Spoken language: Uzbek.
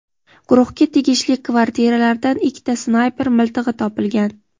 guruhga tegishli kvartiralardan ikkita snayper miltig‘i topilgan.